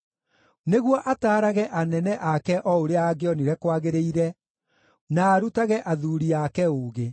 nĩguo ataarage anene ake o ũrĩa angĩonire kwagĩrĩire, na arutage athuuri ake ũũgĩ.